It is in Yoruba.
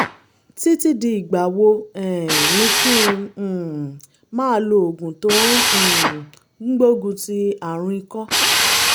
títí di ìgbà wo um ni kí n um máa lo oògùn tó um ń gbógun ti àrùn ikọ́?